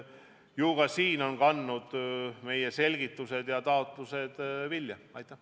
Nii et ka siin on meie selgitused ja taotlused vilja kandnud.